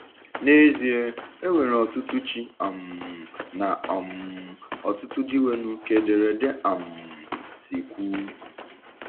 N’ezie, “e nwere ọtụtụ ‘ chi ’ um na um ọtụtụ ‘ dịnwenụ, ’” ka ederede um si kwuu.